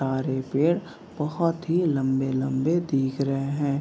तारे पेड़ बहुत ही लम्बे-लम्बे दिख रहे हैं |